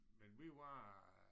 Men vi var